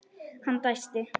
Hann dæsti.